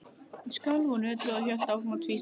Ég skalf og nötraði og hélt áfram að tvístíga.